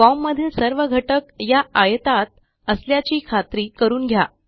Formमधील सर्व घटक या आयतात असल्याची खात्री करून घ्या